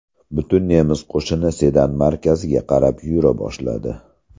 Butun nemis qo‘shini Sedan markaziga qarab yura boshladi.